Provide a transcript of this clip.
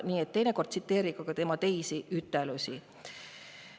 Nii et teinekord tsiteerige ka tema teisi väljaütlemisi.